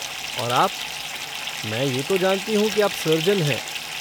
और आप, मैं ये तो जानती हूँ कि आप सर्जन हैं।